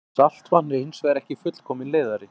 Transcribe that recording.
Saltvatn er hins vegar ekki fullkominn leiðari.